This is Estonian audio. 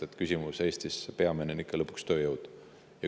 Peamine küsimus Eestis on ikka lõpuks tööjõud.